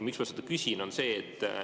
Miks ma seda küsin?